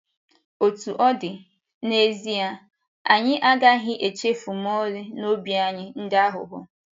Otú ọ dị, n’ezie, anyị agaghị echefu ma ọlị na obi anyị dị aghụghọ.